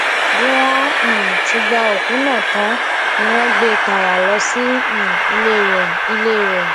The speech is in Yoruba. bí wọn um ti gba òkú náà tán ni wọn gbé e tààrà lọ sí um ilé rẹ ilé rẹ